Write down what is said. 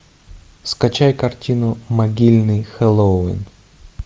скачай картину могильный хэллоуин